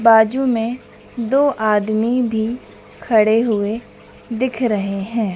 बाजू में दो आदमी भी खड़े हुए दिख रहे हैं।